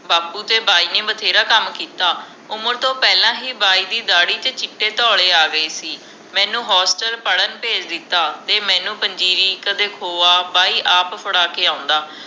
ਬਾਪੂ ਤੇ ਬਾਈ ਨੇ ਬਥੇਰਾ ਕੰਮ ਕੀਤਾ ਉਮਰ ਤੋਂ ਪਹਿਲਾ ਹੀ ਬਾਈ ਦੀ ਦਾੜੀ ਤੇ ਚੀਟੇ ਧੌਲੇ ਆ ਗਏ ਸੀ ਮੈਨੂੰ ਹੋਸਟਲ ਪੜ੍ਹਨ ਭੇਜ ਦਿੱਤਾ ਤੇ ਮੈਨੂੰ ਪੰਜੀਰੀ ਕਦੇ ਖੋਇਆ ਬਾਈ ਆਪ ਫੜ੍ਹਾ ਕੇ ਆਉਂਦਾ